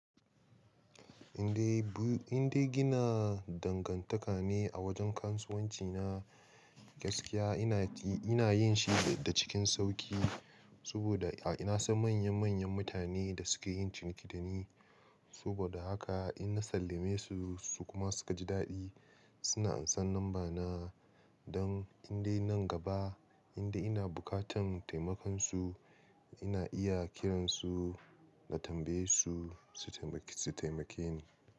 Indai, indai gina dangantaka ne a wajen kasuwanci na gaskiya. Ina, ina yin shi da cikin sauƙi, saboda ina son manya-manyan mutane da suke yin ciniki da ne. Saboda haka inna sallame su, su kuma suka ji daɗi. Suna ansan namba na don indai nan gaba inda ina buƙatan taimakon su, ina iya kiransu na tambaye su, su taimake ni.